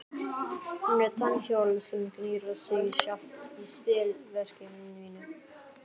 Hún er tannhjól sem knýr sig sjálft í spilverki mínu.